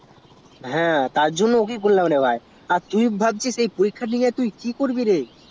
হ্যা তারজন্য ওকেই করলাম রে ভাই তা তুই ভাবছিস পরীক্ষার দিনে কি পড়বি রে